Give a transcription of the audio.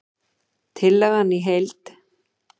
Tillagan í heild